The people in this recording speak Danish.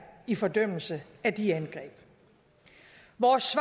i fordømmelse af de angreb vores